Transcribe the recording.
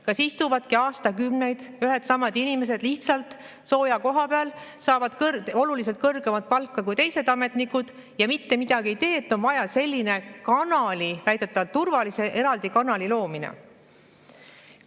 Kas istuvadki aastakümneid ühed ja samad inimesed lihtsalt sooja koha peal, saavad oluliselt kõrgemat palka kui teised ametnikud ja mitte midagi ei tee, et on vaja sellise kanali, väidetavalt turvalise eraldi kanali loomine?